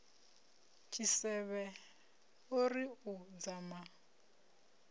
tshisevhe o ri u dzama